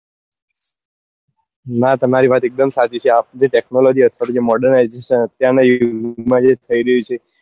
નાં તમારી વાત એક દમ સાચી છે આ બધું technology અથવા તો જે modernization અત્યાર નાં યુગ માં થઇ રહ્યી છે